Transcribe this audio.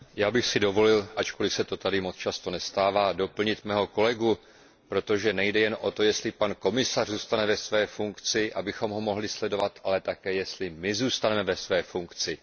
Já bych si dovolil, ačkoliv se to tady moc často nestává, doplnit mého kolegu, protože nejde jen o to, jestli pan komisař zůstane ve své funkci, abychom ho mohli sledovat, ale také jestli my zůstaneme v našich funkcích.